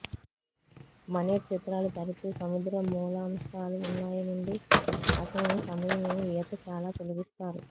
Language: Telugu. మనేట్ చిత్రాలు తరచూ సముద్ర మూలాంశాలు ఉన్నాయి నుండి అతను సమయం ఈత చాలా తొలగిస్తారు